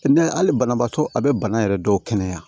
N'a ye hali banabaatɔ a bɛ bana yɛrɛ dɔw kɛnɛya